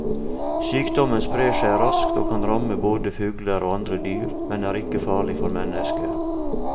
Sykdommen sprer seg raskt og kan ramme både fugler og andre dyr, men er ikke farlig for mennesker.